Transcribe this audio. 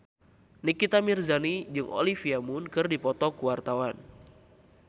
Nikita Mirzani jeung Olivia Munn keur dipoto ku wartawan